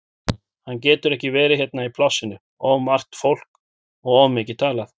Hann getur ekki verið hérna í plássinu, of margt fólk og of mikið talað.